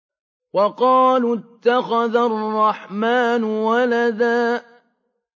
وَقَالُوا اتَّخَذَ الرَّحْمَٰنُ وَلَدًا